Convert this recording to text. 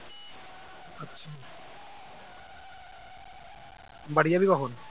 বাড়ি যাবি কখন